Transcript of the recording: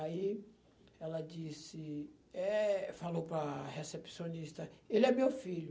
Aí ela disse, eh, falou para a recepcionista, ele é meu filho.